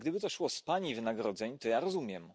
I gdyby to szło z Pani wynagrodzeń, to ja rozumiem.